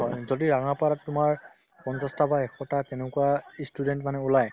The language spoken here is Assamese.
যদি ৰঙাপাৰাত তোমাৰ পঞ্চাশটা বা এশটা তেনেকুৱা ই student মানে ওলাই